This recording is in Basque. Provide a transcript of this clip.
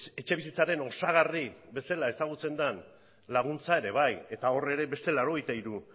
etxebizitzaren osagarri bezala ezagutzen den laguntza ere bai eta hor ere beste laurogeita hiru